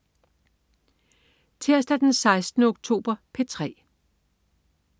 Tirsdag den 16. oktober - P3: